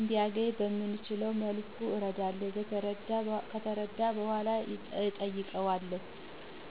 እንዲያነኝ በምችለው መልኩ አረዳለሁ። ከተረዳ በኃላ እጠይቀዋለሁ።